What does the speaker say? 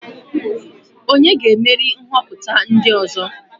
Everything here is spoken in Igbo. Onye ga-emeri nhoputa ndi ozo?